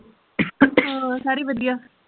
ਰ ਸਾਰੇ ਵਧੀਆਂ